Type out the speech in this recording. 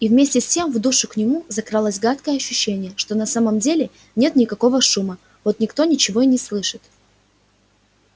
и вместе с тем в душу к нему закралось гадкое ощущение что на самом-то деле нет никакого шума вот никто ничего и не слышит